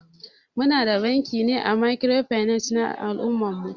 Muna da banki na microfinance a al'ummar mu.